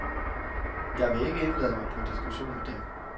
Jeg vil ikke indlade mig på diskussion med dem.